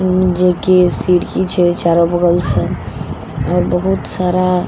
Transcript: जेकी सिरकी छे चारो बगल सॅ आओर बहुत सारा--